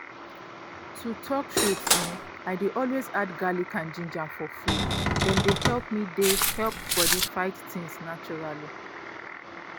to talk truth[um]i dey always add garlic and ginger for food — dem dey help dem dey help body fight things naturally